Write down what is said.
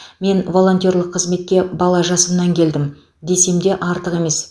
мен волонтерлік қызметке бала жасымнан келдім десем де артық емес